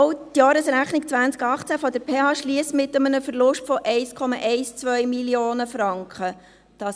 Auch die Jahresrechnung 2018 der PH Bern schliesst mit einem Verlust von 1,12 Mio. Franken ab.